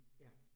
Ja